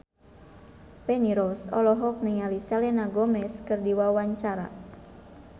Feni Rose olohok ningali Selena Gomez keur diwawancara